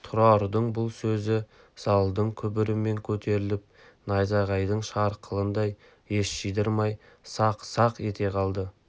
тұрардың бұл сөзі залдың күмбірімен көтеріліп найзағайдың шарғылындай ес жидырмай сақ-сақ ете қалды